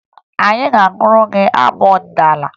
Anyị ga-agụrụ gị abụ ọdịnaala